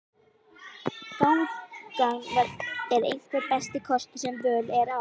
Gangan er einhver besti kostur sem völ er á.